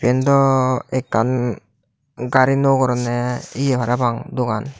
yen daw ekkan gari nuo goronney ye parapang dogan.